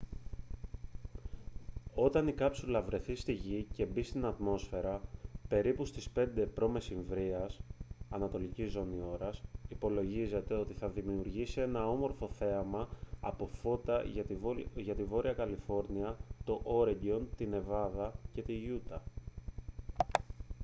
όταν η κάψουλα βρεθεί στη γη και μπει στην ατμόσφαιρα περίπου στις 5 π.μ. ανατολική ζώνη ώρας υπολογίζεται ότι θα δημιουργήσει ένα όμορφο θέαμα από φώτα για τη βόρεια καλιφόρνια το όρεγκον τη νεβάδα και τη γιούτα